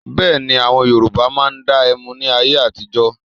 Bẹ́ẹ̀ni, àwọn Yorùbá máa ń dá ẹmu ní ayé àtijọ́.